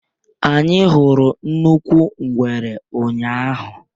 Anyị hụrụ nnukwu ngwere ụnyahụ.